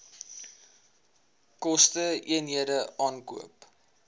koste eenhede aankoop